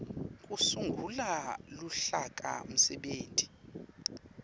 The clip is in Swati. kusungula luhlaka msebenti